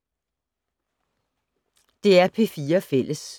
DR P4 Fælles